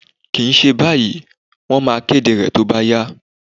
Kìí ṣe báyìí, Wọ́n máa kéde rẹ̀ tó bá yá